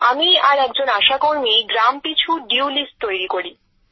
আমি আর একজন আশাকর্মী গ্রাম পিছু বকেয়া তালিকা তৈরী করি